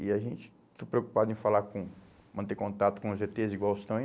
E a gente está preocupado em falar com, manter contato com os ê tês igual estão aí?